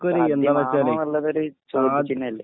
സാധ്യമാണോ എന്നുള്ളത് ചോദ്യ ചിനല്ലേ